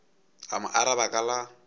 a mo araba ka la